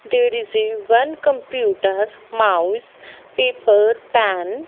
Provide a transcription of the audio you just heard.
there is a one computer mouse paper pan .